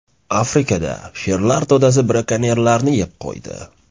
Afrikada sherlar to‘dasi brakonyerlarni yeb qo‘ydi.